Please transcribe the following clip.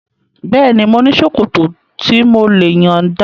Bẹ́ẹ̀ni, mo ní ṣòkòtò tí mò lè yọ̀nda